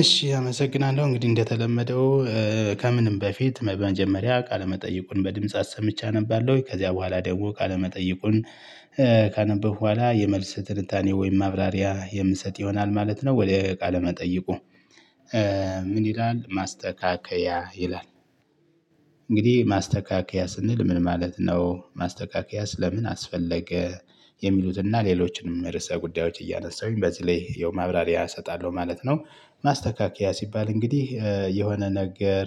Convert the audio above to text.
እሺ አመሰግናለሁ እንግዲህ እንደተለመደው ከምንም በፊት በመጀመሪያ ቃለ መጠይቁን በድምጽ አሰምቼ አነባለሁኝ ከዚያ በኋላ ደግሞ ካለመጠየቁን ካነበብኩ በኋላ የመልስ ትንታኔ ወይም ማብራሪያ የምሰጥ ይሆናል ማለት ነው። ወደ እቃ ለመጠየቁ። ምን ይላል ማስተካከያ ይላል? እንግዲህ ማስተካከያ ስንል ምን ማለት ነው? ማስተካከያስ ለምን አስፈለገ የሚሉትና ሌሎችንም ርዕሰ ጉዳዮች እያነሳሁኝ በዚህ ላይ ያው ማብራሪያ እሰጣለሁ ማለት ነው። ማስተካከያ ሲባል እንግዲህ የሆነ ነገር።